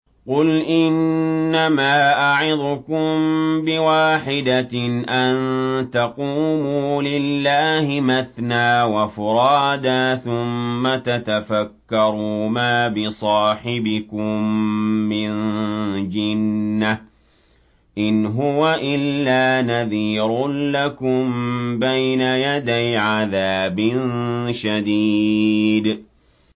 ۞ قُلْ إِنَّمَا أَعِظُكُم بِوَاحِدَةٍ ۖ أَن تَقُومُوا لِلَّهِ مَثْنَىٰ وَفُرَادَىٰ ثُمَّ تَتَفَكَّرُوا ۚ مَا بِصَاحِبِكُم مِّن جِنَّةٍ ۚ إِنْ هُوَ إِلَّا نَذِيرٌ لَّكُم بَيْنَ يَدَيْ عَذَابٍ شَدِيدٍ